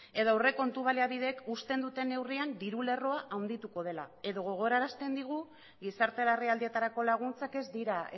edo aurrekontu baliabideek uzten duten neurrian diru lerroa handituko dela edo gogorarazten digu gizarte larrialdietarako laguntzak ez dira